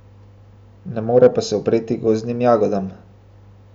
Ne more pa se upreti gozdnim jagodam.